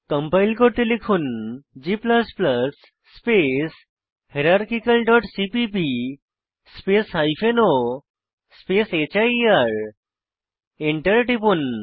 compile করতে লিখুন g space hierarchical dot CPP space o space here Enter টিপুন